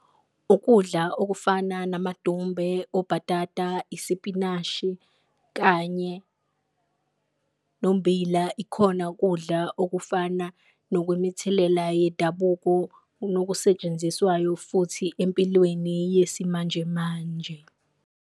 Ukudla okufana namadumbe, obhatata, isipinashi kanye nommbila ikhona kudla okufana nokwemithelela yedabuko, nokusetshenziswayo futhi empilweni yesimanjemanje.